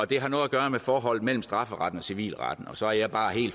det har noget at gøre med forholdet mellem strafferetten og civilretten og så er jeg bare